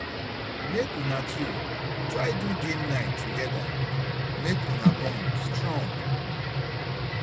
mek una two try do game night togeda mek una bond strong